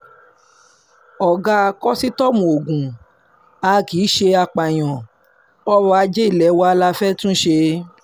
ọ̀gá kòsítọ́ọ̀mù ogun a kì í ṣe apààyàn ọrọ̀ ajé ilé wa la fẹ́ẹ́ tún ṣe